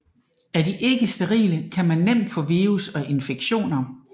Er de ikke sterile kan man nemt få virus og infektioner